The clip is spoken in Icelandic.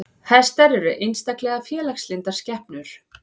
Hestar eru einstaklega félagslyndar skepnur.